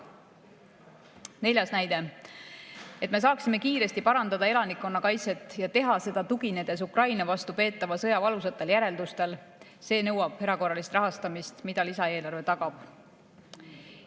Neljandaks, et me saaksime kiiresti parandada elanikkonnakaitset ja teha seda, tuginedes Ukraina vastu peetava sõja valusatele järeldustele – see nõuab erakorralist rahastamist, mida lisaeelarve tagab.